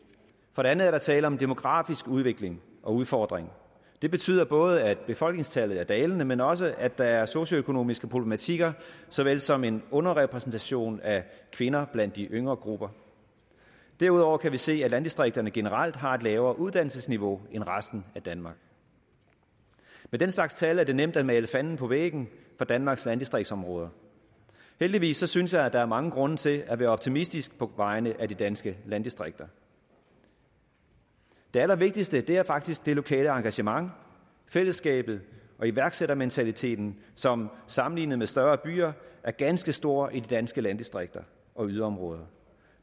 for det andet er der tale om en demografisk udvikling og udfordring det betyder både at befolkningstallet er dalende men også at der er socioøkonomiske problematikker så vel som en underrepræsentation af kvinder blandt de yngre grupper derudover kan vi se at landdistrikterne generelt har et lavere uddannelsesniveau end resten af danmark med den slags tal er det nemt at male fanden på væggen for danmarks landdistriktsområder heldigvis synes jeg at der er mange grunde til at være optimistisk på vegne af de danske landdistrikter det allervigtigste er faktisk det lokale engagement fællesskabet og iværksættermentaliteten som sammenlignet med større byer er ganske stor i de danske landdistrikter og yderområder